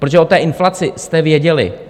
Protože o té inflaci jste věděli.